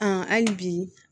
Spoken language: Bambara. hali bi